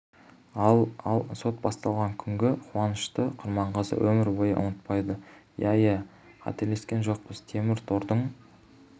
ал ал сот басталған күнгі қуанышты құрманғазы өмір бойы ұмытпайды иә иә қателескен жоқпыз темір тордың